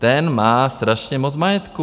Ten má strašně moc majetku.